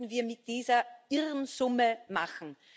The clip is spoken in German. Was könnten wir mit dieser irren Summe machen?